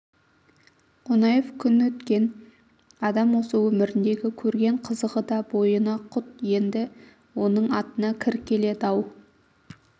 қонаев күн өткен адам осы өміріндегі көрген қызығы да бойына құт енді оның атына кір келед-ау